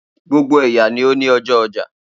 Gbogbo ẹya ni o ni a oja ọjọ